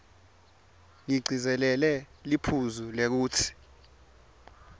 ngigcizelele liphuzu lekutsi